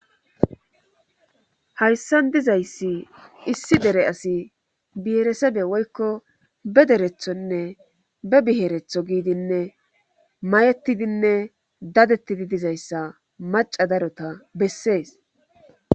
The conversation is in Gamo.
hayssan dizayssi issi dere asi biyeresebe woykko be derethonne be biheretho giidinne mayettidinne dadettidi dizayssa maca darota bessees